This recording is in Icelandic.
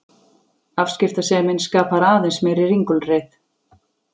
Afskiptasemin skapar aðeins meiri ringulreið.